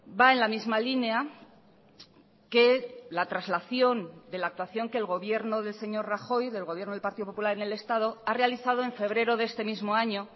va en la misma línea que la traslación de la actuación que el gobierno del señor rajoy del gobierno del partido popular en el estado ha realizado en febrero de este mismo año